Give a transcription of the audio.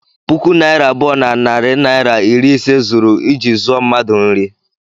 puku naịra abụọ na narị naịra iri ise zuru iji zụọ mmadu nri